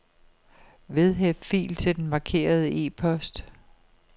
Vedhæft fil til den markerede e-post.